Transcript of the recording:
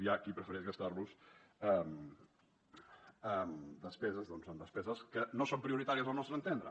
hi ha qui prefereix gastar los en despeses que no són prioritàries al nostre entendre